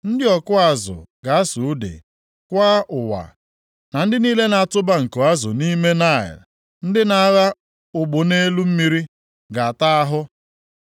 Ndị ọkụ azụ ga-asụ ude, kwaa ụwa, na ndị niile na-atụba nko azụ nʼime Naịl, ndị na-agha ụgbụ nʼelu mmiri ga-ata ahụ.